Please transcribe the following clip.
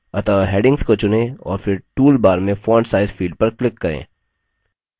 अतः headings को चुनें और फिर toolbar में font size field पर click करें